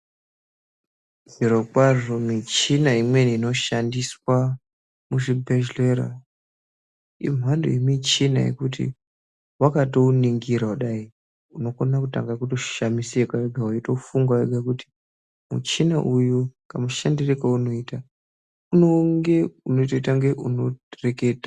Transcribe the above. Zvirokwazvo michina imweni inoshandiswa muzvibhedhlera, imhando yemichina yekuti vakatouningira kudai unokona kutoshamisika vega veitofunga kuti, muchina uyu kamushandire kaunoita unonge unotoite kunge unoreketa.